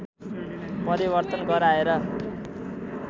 परिवर्तन गराएर